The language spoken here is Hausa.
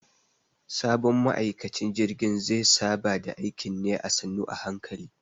Sabon ma'aikacin jirgin ze saba da aikin ne a sannu a hankali.